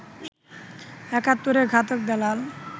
একাত্তরের ঘাতক দালাল